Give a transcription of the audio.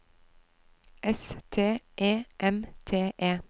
S T E M T E